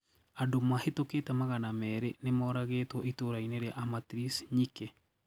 Andũ mahĩtũkite magana mĩrĩ nĩmaũragĩtwo itũra-inĩ ria Amatrice nyikĩ.